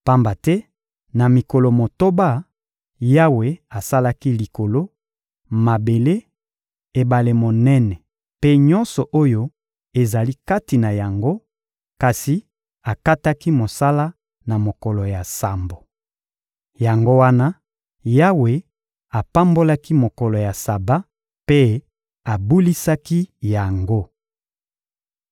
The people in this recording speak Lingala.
Pamba te na mikolo motoba, Yawe asalaki Likolo, mabele, ebale monene mpe nyonso oyo ezali kati na yango, kasi akataki mosala na mokolo ya sambo. Yango wana, Yawe apambolaki mokolo ya Saba mpe abulisaki yango.